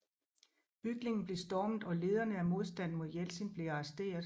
Bygningen blev stormet og lederne af modstanden mod Jeltsin blev arresteret